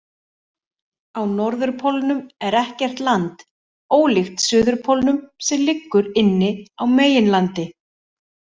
Á norðurpólnum er ekkert land, ólíkt suðurpólnum sem liggur inni á meginlandi.